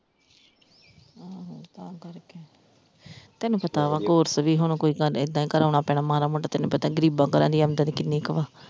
ਹਮ ਤਾਂ ਕਰਕੇ, ਤੈਨੂੰ ਪਤਾ ਵਾ course ਵੀ ਹੁਣ ਕੋਈ ਏਦਾਂ ਹੀ ਕਰਾਉਣਾ ਪੈਣਾ ਮਾੜਾ ਮੋਟਾ ਤੈਨੂੰ ਪਤਾ ਗਰੀਬਾਂ ਘਰਾਂ ਦੀਆਂ ਆਮਦਨ ਕਿੰਨੀ ਕ ਵਾ?